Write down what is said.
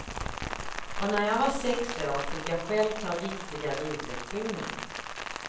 Och när jag var sex år, fick jag själv ta riktiga ridlektioner.